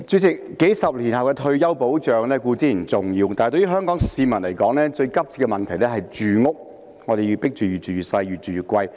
主席，數十年後的退休保障固然重要，但對於香港市民來說，最急切的問題是住屋，我們被迫"越住越細，越住越貴"。